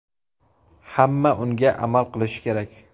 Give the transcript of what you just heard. Hamma unga amal qilishi kerak.